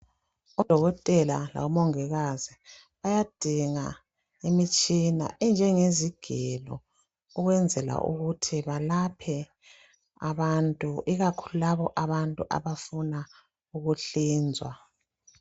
Odokotela labo mongikazi bayadinga imitshina enjenge zigelo ukwenzela ukuthi balaphe abantu ikakhulu labo abantu abafuna ukuhlinzwa.